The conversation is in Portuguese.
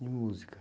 E música?